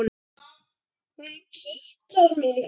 Hún kitlar mig!